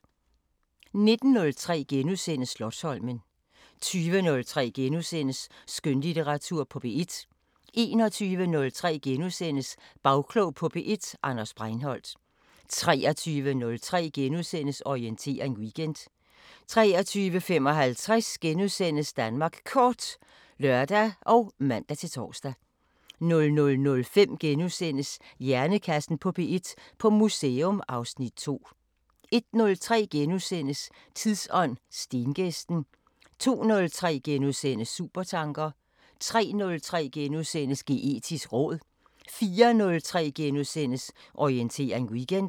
19:03: Slotsholmen * 20:03: Skønlitteratur på P1 * 21:03: Bagklog på P1: Anders Breinholt * 23:03: Orientering Weekend * 23:55: Danmark Kort *(lør og man-tor) 00:05: Hjernekassen på P1: På museum (Afs. 2)* 01:03: Tidsånd: Stengæsten * 02:03: Supertanker * 03:03: Geetisk råd * 04:03: Orientering Weekend *